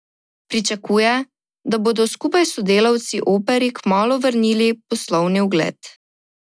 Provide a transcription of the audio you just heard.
Pričakuje, da bodo skupaj s sodelavci Operi kmalu vrnili poslovni ugled.